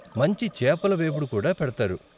మంచి చేపల వేపుడు కూడా పెడతారు.